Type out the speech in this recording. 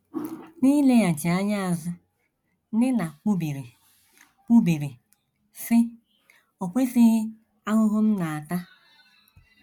N’ileghachi anya azụ, Nina kwubiri, kwubiri, sị: “ O kwesịghị ahụhụ m na - ata!